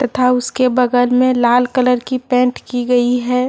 तथा उसके बगल में लाल कलर की पेंट की गई है।